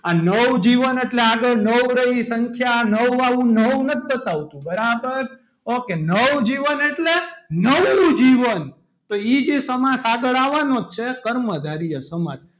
આ નવજીવન એટલે આગળ નવ રહી એ સંખ્યા નવ વાળું નવ નથી બતાવતું બરાબર ok નવજીવન એટલે નવું જીવન તો એ જે સમાસ આગળ આવવાનો છે કર્મધારય સમાસ,